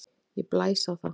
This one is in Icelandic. Ég blæs á það.